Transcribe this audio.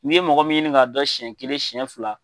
N'i ye mɔgɔ min ɲini k'a dɔn siyɛn kelen siyɛn fila